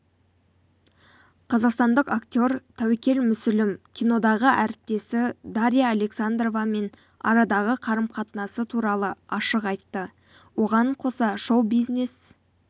қазақстандық актер тәуекел мүсілім кинодағы әріптесі дарья александровамен арадағы қарым-қатынасы туралы ашық айты оған қоса шоу-бизнес